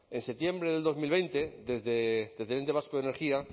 en septiembre de dos mil veinte desde el ente vasco de energía